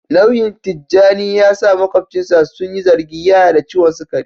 Nauyin Tijjani ya sa makwabcinsa su yi zargin yana da ciwon sukari